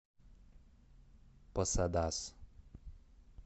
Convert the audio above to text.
посадас